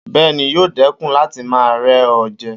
Bẹ́ẹ̀ni, yóò dẹ́kun láti máa rẹ́ ọ jẹ